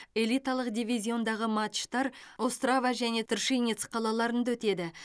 элиталық дивизиондағы матчтар острава және тршинец қалаларында өтеді